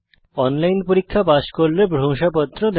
online পরীক্ষা pass করলে প্রশংসাপত্র দেয়